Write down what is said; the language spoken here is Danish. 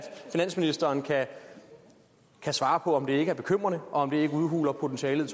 finansministeren kan svare på om det ikke er bekymrende og om det ikke udhuler potentialet